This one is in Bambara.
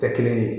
Kɛ kelen ye